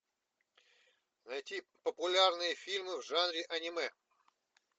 найти популярные фильмы в жанре аниме